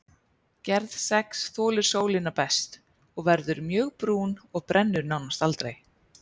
Gerð sex þolir sólina best, verður mjög brún og brennur nánast aldrei.